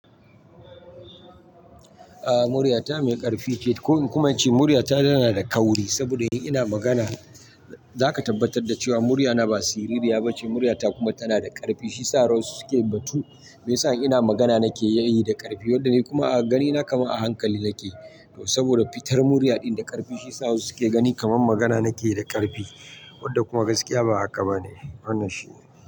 A'a, murya ta mai ƙarfi ce. Ko in kuma ce murya ta tana da kauri, saboda in ina magana za ka tabbatar da cewa murya ta ba siririya ba ce. Murya ta kuma tana da ƙarfi, shi sa wasu suke batu. Mai sa in ina magana nake yi da ƙarfi, wanda ni kuma a ganina kamar a hankali nake. Saboda fitar murya ɗin da ƙarfi shiyasa wasu suke gani kamar magana nake yi da ƙarfi wanda kuma gaskiya ba haka ba ne. Wannan shine.